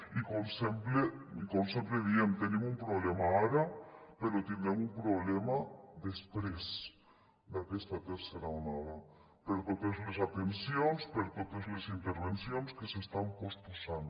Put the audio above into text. i com sempre diem tenim un problema ara però tindrem un problema després d’aquesta tercera onada per totes les atencions per totes les intervencions que s’estan posposant